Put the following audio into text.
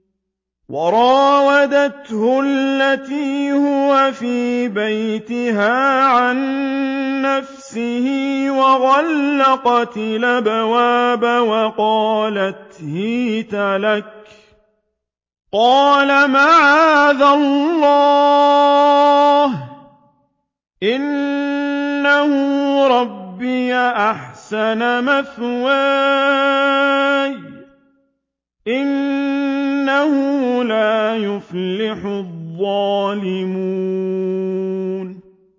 وَرَاوَدَتْهُ الَّتِي هُوَ فِي بَيْتِهَا عَن نَّفْسِهِ وَغَلَّقَتِ الْأَبْوَابَ وَقَالَتْ هَيْتَ لَكَ ۚ قَالَ مَعَاذَ اللَّهِ ۖ إِنَّهُ رَبِّي أَحْسَنَ مَثْوَايَ ۖ إِنَّهُ لَا يُفْلِحُ الظَّالِمُونَ